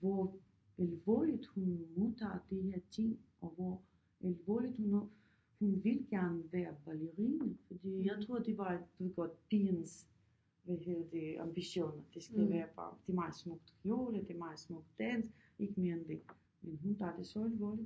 Hvor alvorligt hun modtager de her ting og hvor alvorligt hun er hun vil gerne være ballerina fordi jeg troede det var du ved godt pigens hvad hedder det ambitioner det skal bare være det meget smukt kjole det meget smuk dans ikke mere end det men hun tager det så alvorligt